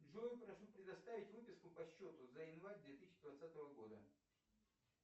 джой прошу предоставить выписку по счету за январь две тысячи двадцатого года